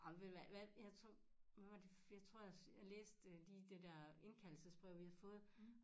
Ej men ved du hvad hvad jeg tror hvad var det jeg tror også jeg læste lige det dér indkaldelsesbrev vi havde fået